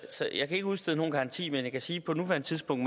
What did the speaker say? sig jeg kan ikke udstede nogen garanti men jeg kan sige at på nuværende tidspunkt